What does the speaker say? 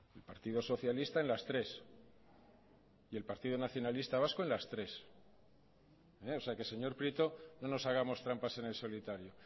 el partido socialista en las tres y el partido nacionalista vasco en las tres o sea que señor prieto no nos hagamos trampas en el solitario